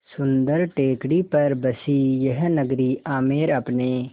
सुन्दर टेकड़ी पर बसी यह नगरी आमेर अपने